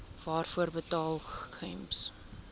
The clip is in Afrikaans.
waarvoor betaal gems